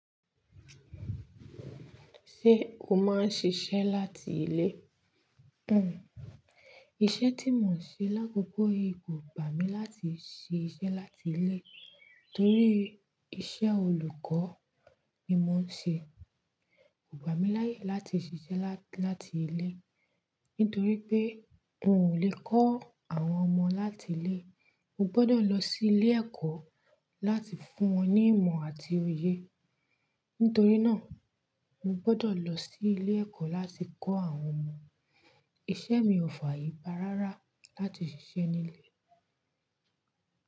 Ṣé o máa ń ṣiṣẹ́ láti ilé? Hmm. Iṣẹ́ tí mò ń ṣe lákòókò yìí kò gbà mí láti ṣe iṣẹ́ láti ilé torí iṣẹ́ olùkọ́ ni mò ń ṣe. Kò gba mi láyè láti ṣiṣẹ́ láti ilé nítorí pé n ò lè kọ́ àwọn ọmọ láti ilé. Mo gbọ́dọ̀ lọ sí ilé ẹ̀kọ́ láti fún wọn ní ìmọ̀ àti òye. Nítorí náà, mo gbọ́dọ̀ lọ sí ilé ẹ̀kọ́ láti kọ́ àwọn ọmọ. Iṣẹ́ mi ò fààyè gba rárá láti ṣiṣẹ́ ní ilé.